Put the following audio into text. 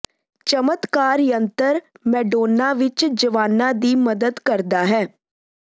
ਚਮਤਕਾਰ ਯੰਤਰ ਮੈਡੋਨਾ ਵਿਚ ਜਵਾਨਾਂ ਦੀ ਮਦਦ ਕਰਦਾ ਹੈ